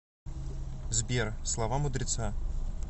сбер слова мудреца